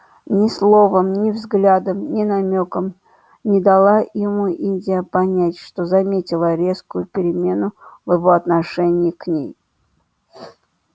ни словом ни взглядом ни намёком не дала ему индия понять что заметила резкую перемену в его отношении к ней